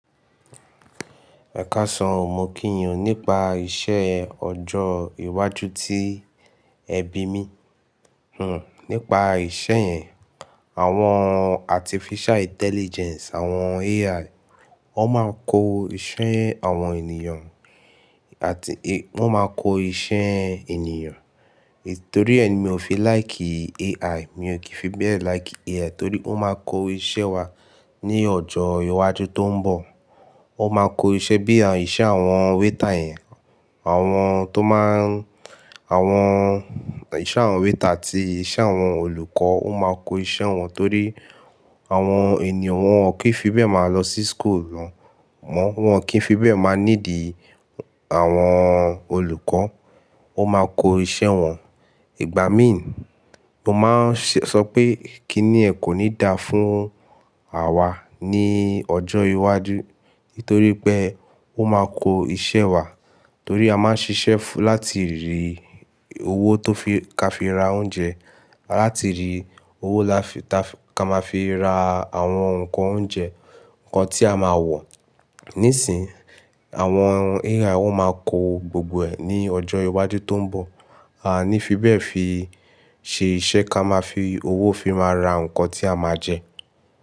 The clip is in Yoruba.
Ẹkáṣọ, mo kí ìyàn nípa ìṣe ọjọ́ iwájú tí ẹbí mi. Hmm, nípa ìṣe yẹn, àwọn artificial intelligence, àwọn AI, wọ́n máa ń kó iṣẹ́ àwọn ènìyàn àti wọ́n máa kó iṣẹ́ ènìyàn. Nítorí ẹ́ ni mi ò fi láì kìí AI. Mi ò kìí fi bẹ́ẹ̀ láì kìí AI, torí wọ́n máa kó iṣẹ́ wa ní ọjọ́ iwájú tó ń bọ̀. Wọ́n máa kó iṣẹ́ bí i iṣẹ́ àwọn wéétà yẹn, àwọn tó máa ń, àwọn iṣẹ́ àwọn wéétà àti iṣẹ́ àwọn olùkọ́, wọ́n máa kó iṣẹ́ wọn torí àwọn ènìyàn wọn ò kí ń fi bẹ́ẹ̀ máa lọ sí school mọ́. Wọn ò kí ń fi bẹ́ẹ̀ máa nídi àwọn olùkọ́. Wọ́n máa kó iṣẹ́ wọn. Ìgbà mí ń, mo máa ń ṣe sọ pé kí ni ẹ́ kò ní dáa fún àwa ní ọjọ́ iwájú, nítorí pé wọ́n máa kó iṣẹ́ wa. Torí a máa ń ṣiṣẹ́ láti rí owó tó fi ká fi ra oúnjẹ, láti rí owó láfi ká máa fi ra àwọn ǹkan oúnjẹ, ǹkan tí a máa wọ̀. Nísìń, àwọn AI wọ́n máa kó gbogbo ẹ̀ ní ọjọ́ iwájú tó ń bọ̀. A ní fi bẹ́ẹ̀ fi ṣe iṣẹ́ ká máa fi owó fi máa ra ǹkan tí a máa jẹ.